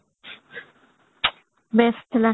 best ଥିଲା